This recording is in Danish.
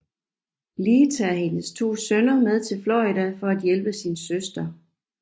Lee tager hendes to sønner med til Florida for at hjælpe sin søster